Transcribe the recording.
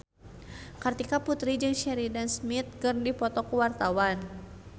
Kartika Putri jeung Sheridan Smith keur dipoto ku wartawan